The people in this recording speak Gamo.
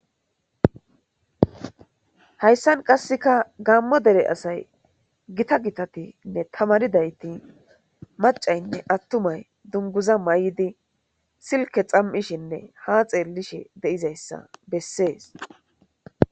hayssan qasseka gaammo dere asay gita gitatinne tamaridayti macaynne attumay dunguza may7idi silke xam7ishinne ha xeellishe de7izayssa bessees